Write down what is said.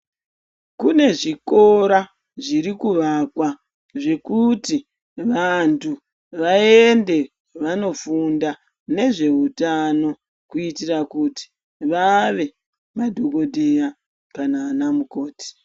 Kune zvikora zviri kuakwa zvekuti anthu vaende vandofunda ngezveutano kuitira kuti vave madhokodheya kana ana mukoti.